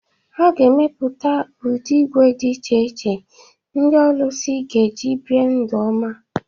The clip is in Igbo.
A ga-emepụta ụdị ígwè dị iche iche ndị ọlụsị ga-eji bie ndụ ọma